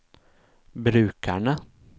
brukerne